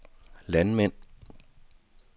landmænd